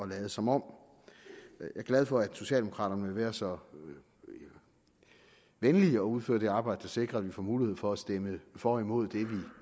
lade som om jeg er glad for at socialdemokraterne vil være så venlige at udføre det arbejde der sikrer at vi får mulighed for at stemme for og imod det vi